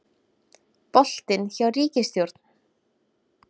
Boltinn hjá ríkisstjórn